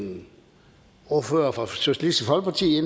en ordfører for socialistisk folkeparti